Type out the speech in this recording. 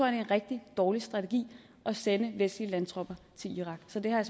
er en rigtig dårlig strategi at sende vestlige landtropper til irak så det har